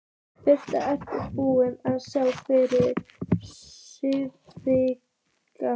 Birta: Ertu búinn að spá fyrir um sigurvegara?